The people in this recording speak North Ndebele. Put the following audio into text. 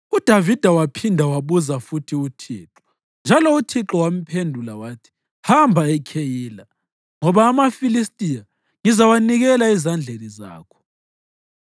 UDavida waphinda wambuza futhi uThixo, njalo uThixo wamphendula wathi, “Hamba eKheyila, ngoba amaFilistiya ngizawanikela ezandleni zakho.”